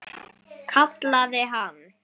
Kallaði hann.